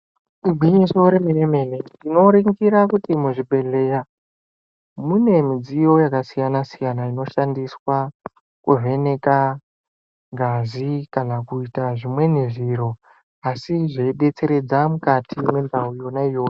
Igwinyiso remene-mene tinoringira kuti muzvibhedhleya mune midziyo yakasiyana-siyana, inoshandiswa kuvheneka ngazi kana kuita zvimweni zviro. Asi zveibetseredza mukati mendau yona iyoyo.